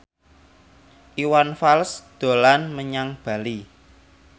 Iwan Fals dolan menyang Bali